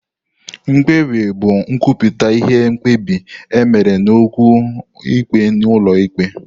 Mkpebi bụ nkwupụta ihe mkpebi e mere n'okwu ikpe n'ụlọ ikpe.